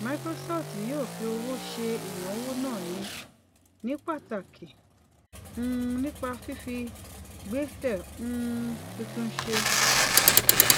microsoft yóò fi owó ṣe ìnáwó náà ní pàtàkì um nípa fífi gbèsè um tuntun ṣe